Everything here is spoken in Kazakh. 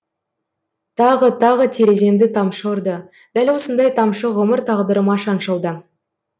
тағы тағы тереземді тамшы ұрды дәл осындай тамшы ғұмыр тағдырыма шаншылды